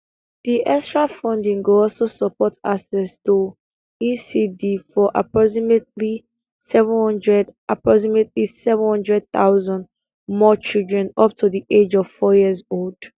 di extra funding go also support access to ecd for approximately 700 approximately 700 000 more children up to di age of four years old